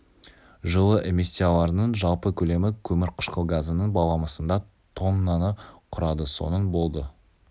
жылы эмиссияларының жалпы көлемі көмір қышқыл газының баламысында тоннаны құрады соның болды